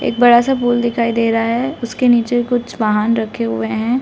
एक बड़ा सा पूल दिखाई दे रहा है उसके नीचे कुछ वाहन रखे हुए हैं।